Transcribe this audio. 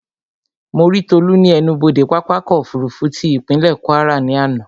Mo rí Tolú ní ẹnubodè pápákọ̀ ọ̀kọ òfurufú tí ìpínlè Kwara ní àná